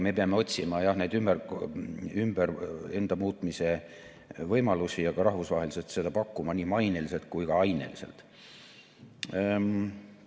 Me peame otsima neid enda ümbermuutmise võimalusi ja ka rahvusvaheliselt neid pakkuma nii maineliselt kui ka aineliselt.